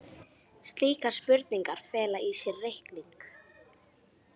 Slíkar spurningar fela í sér reikning.